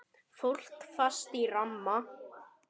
Fólk fast í ramma?